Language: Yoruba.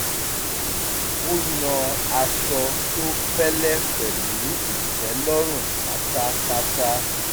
ó yàn aṣọ tó fẹ́lẹ́ pẹ̀lú ìtẹ́lọ́run pátápátá